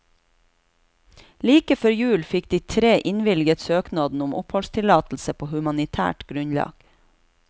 Like før jul fikk de tre innvilget søknaden om oppholdstillatelse på humanitært grunnlag.